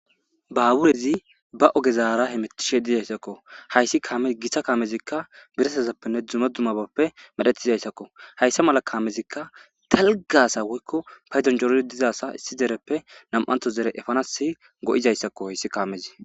Baaburezi ba ogezaara he metishe dizayssakko hayssi kaame gitsa kaamezikka biresazappenne dzume dumabappe medhetizayssakko hayssa mala kaamezikka talgasa woykko payzonjorodi dizaasa issi dereppe nam'anto zere efanas go7izayssakko hayssi kaamezi.